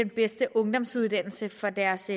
bedste ungdomsuddannelse for deres